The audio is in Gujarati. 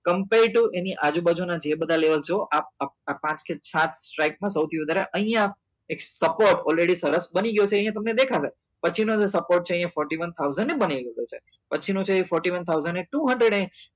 compair to any આજુ બાજુ ના જે બધા level જો આ આ બધા પાંચ કે સાત strick માં સૌથી વધારે અહિયાં એક supportalready સરસ બની ગયો છે અહિયાં તમને દેખાશે પછી નો જે support છે એ fourty one thousand ને બની લીધો છે પછી નો છે એ fourty one thousand to hundred